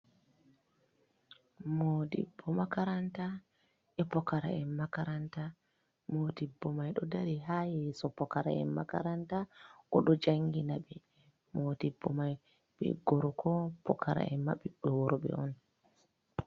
Modibbo Makaranta e Pokara'en Makaranta. Modibbo mai ɗo dari ha yeso Pokara'en Makaranta oɗo janginaɓe, Modibbo mai be gorko Pokaraen mai ɓiɓɓi wurɓe on.